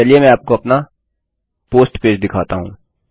चलिए मैं आपको अपना पोस्ट पेज दिखाता हूँ